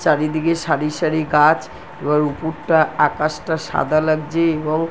চারিদিকে সারি সারি গাছ এবার উপুরটা আকাশটা সাদা লাগছে এবং--